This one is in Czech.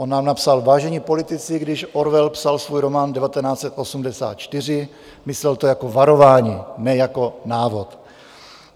On nám napsal: "Vážení politici, když Orwell psal svůj román 1984, myslel to jako varování, ne jako návod."